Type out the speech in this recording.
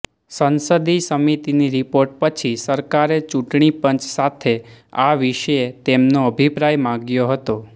સંસદીય સમિતિની રિપોર્ટ પછી સરકારે ચૂંટણીપંચ સાથે આ વિશે તેમનો અભિપ્રાય માગ્યો હતો